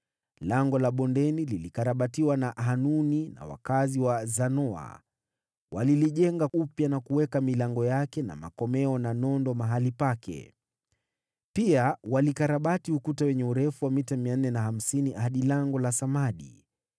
Lango la Bondeni lilikarabatiwa na Hanuni na wakazi wa Zanoa. Walilijenga upya, na kuweka milango yake na makomeo na nondo mahali pake. Pia walikarabati ukuta wenye urefu wa mita 450 hadi Lango la Samadi.